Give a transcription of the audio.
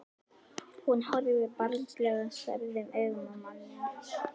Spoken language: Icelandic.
Hún horfir barnslega særðum augum á manninn.